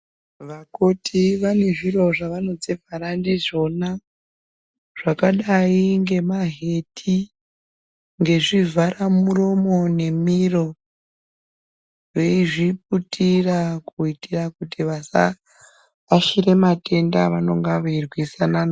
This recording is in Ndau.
Vakoti vane zviro zvavanozvivhara ndizvona zvakadayi ngemaheti, ngezvivharamuromo nemiro veizviputira kuitira kuti vasabatira matenda avanenge vachirwisana nawo.